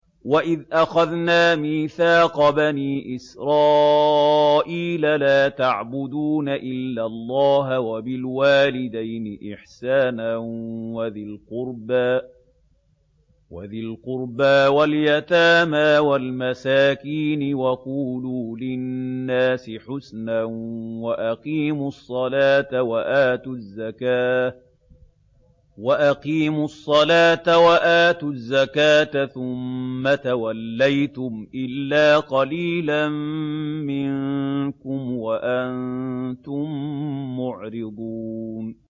وَإِذْ أَخَذْنَا مِيثَاقَ بَنِي إِسْرَائِيلَ لَا تَعْبُدُونَ إِلَّا اللَّهَ وَبِالْوَالِدَيْنِ إِحْسَانًا وَذِي الْقُرْبَىٰ وَالْيَتَامَىٰ وَالْمَسَاكِينِ وَقُولُوا لِلنَّاسِ حُسْنًا وَأَقِيمُوا الصَّلَاةَ وَآتُوا الزَّكَاةَ ثُمَّ تَوَلَّيْتُمْ إِلَّا قَلِيلًا مِّنكُمْ وَأَنتُم مُّعْرِضُونَ